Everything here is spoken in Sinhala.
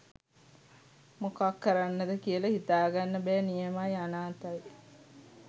මොකක් කරන්නද කියලා හිතාගන්න බෑ නියමයි! අනාථයි.